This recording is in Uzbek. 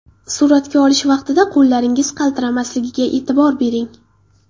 Suratga olish vaqtida qo‘llaringiz qaltiramasligiga e’tibor bering.